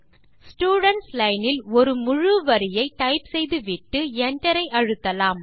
students line இல் ஒரு முழு வரியை டைப் செய்துவிட்டு Enter ஐ அழுத்தலாம்